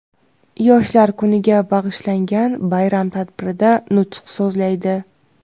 Yoshlar kuniga bag‘ishlangan bayram tadbirida nutq so‘zlaydi.